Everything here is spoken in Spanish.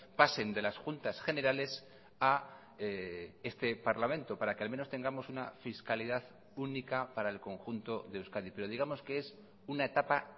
pasen de las juntas generales a este parlamento para que al menos tengamos una fiscalidad única para el conjunto de euskadi pero digamos que es una etapa